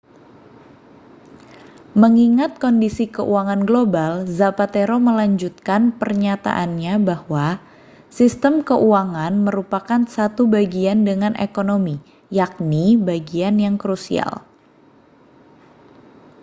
mengingat kondisi keuangan global zapatero melanjutkan pernyataannya bahwa sistem keuangan merupakan satu bagian dengan ekonomi yakni bagian yang krusial